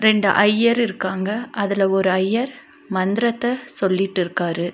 ரெண்டு ஐயர் இருக்காங்க அதுல ஒரு ஐயர் மந்ரத்த சொல்லிட்டுருக்காரு.